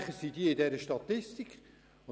Diese würden in der Statistik erscheinen.